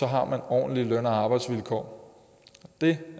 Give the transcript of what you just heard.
har man ordentlige løn og arbejdsvilkår det